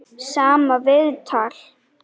Sama viðtal.